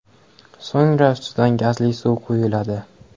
So‘ngra ustidan gazli suv quyiladi.